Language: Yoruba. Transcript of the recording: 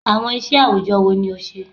Awọn iṣẹ awujọ wo ni o ṣe?